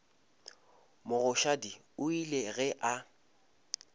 mogoshadi o ile ge a